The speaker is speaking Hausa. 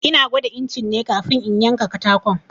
Ina gwada incin ne kafin in yanka katakon.